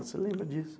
Você lembra disso?